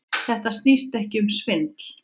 Þetta snýst ekki um svindl.